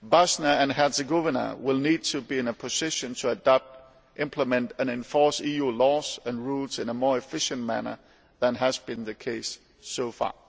Bosnia and Herzegovina will need to be in a position to adopt, implement and enforce EU laws and rules in a more efficient manner than has been the case so far.